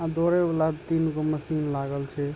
आ दौड़े वाला तीन गो मशीन लागल छै।